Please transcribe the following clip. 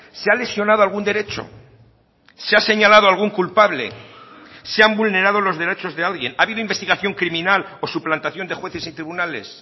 se ha lesionado algún derecho se ha señalado algún culpable se han vulnerado los derechos de alguien ha habido investigación criminal o suplantación de jueces y tribunales